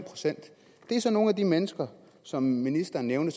procent er så nogle af de mennesker som ministeren nævnte